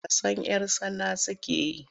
Wasan 'yar tsana suke yi.